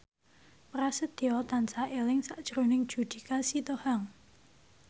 Prasetyo tansah eling sakjroning Judika Sitohang